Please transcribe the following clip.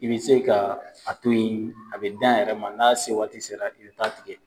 I bɛ se ka a to ye a bɛ dan a yɛrɛ ma n'a se waati sera i bɛ taa tigɛ.